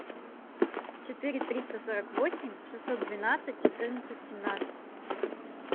четыре триста сорок восемь шестьсот двенадцать четырнадцать семнадцать